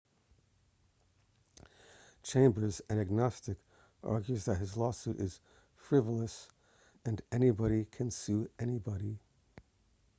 chambers an agnostic argues that his lawsuit is frivolous and anybody can sue anybody